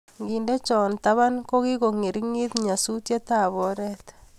Ngende cho taban, kikongeringit nyasuet ab oret